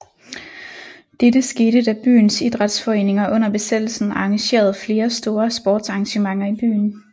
Dette skete da byens Idrætsforeninger under besættelsen arrangerede flere store sportsarrangementer i byen